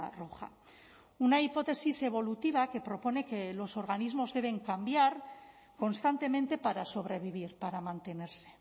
roja una hipótesis evolutiva que propone que los organismos deben cambiar constantemente para sobrevivir para mantenerse